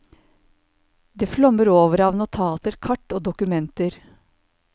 Det flommer over av notater, kart og dokumenter.